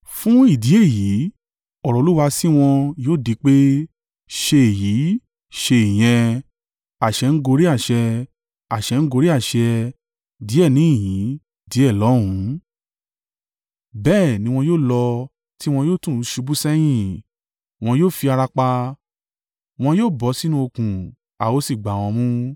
Fún ìdí èyí, ọ̀rọ̀ Olúwa sí wọn yóò di pé, ṣe èyí, ṣe ìyẹn, àṣẹ n gorí àṣẹ, àṣẹ n gorí àṣẹ; díẹ̀ níhìn-ín, díẹ̀ lọ́hùn, bẹ́ẹ̀ ni wọn yóò lọ tí wọn yóò tún ṣubú sẹ́yìn, wọn yóò fi ara pa, wọn yóò bọ́ sínú okùn a ó sì gbá wọn mú.